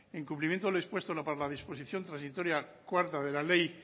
en cumplimiento a lo expuesto en la disposición transitoria cuarta de la ley